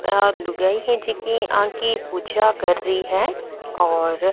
एक लुगाई है जेकी आँकी पूजा कर रही है और --